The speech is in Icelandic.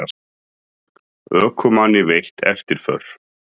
Ökumanni veitt eftirför